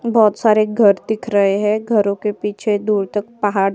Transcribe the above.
बोहोत सारे घर दिख रहे हैं। घरो के पीछे दूर तक पहाड़ --